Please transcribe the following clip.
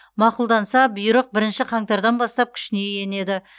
мақұлданса бұйрық бірінші қаңтардан бастап күшіне енеді